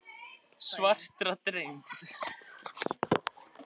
Og hefðum vitað það frá fæðingu þess.